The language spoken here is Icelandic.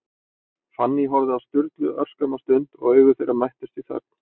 Fanný horfði á Sturlu örskamma stund, og augu þeirra mættust í þögn.